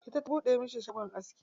Ita ta buɗe masa shagon aski.